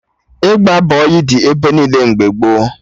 Ịgba bọyị dị ebe niile mgbe gboo